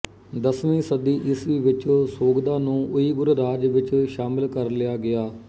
ਦਸਵੀਂ ਸਦੀ ਈਸਵੀ ਵਿੱਚ ਸੋਗ਼ਦਾ ਨੂੰ ਉਈਗੁਰ ਰਾਜ ਵਿੱਚ ਸ਼ਾਮਿਲ ਕਰ ਲਿਆ ਗਿਆ